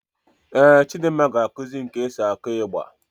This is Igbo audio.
Éè Chidimma ga-ekusi mụ ka e si akụ ịgba